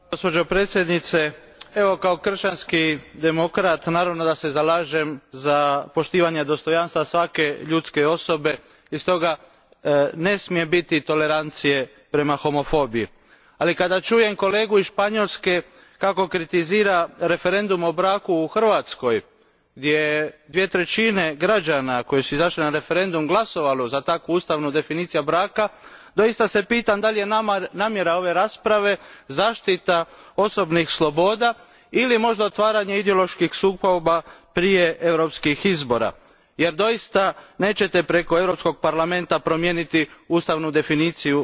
Gospođo predsjednice, kao kršćanski demokrat naravno da se zalažem za poštovanje dostojanstva svake ljudske osobe i stoga ne smije biti tolerancije prema homofobiji, ali kada čujem kolegu iz Španjolske kako kritizira referendum o braku u Hrvatskoj, gdje je dvije trećine građana koji su izašli na referendum glasovalo za takvu ustavnu definiciju braka, doista se pitam da li je nama namjera ove rasprave zaštita osobnih sloboda ili možda otvaranje ideoloških sukoba prije europskih izbora jer doista nećete preko Europskog parlamenta promijeniti ustavnu definiciju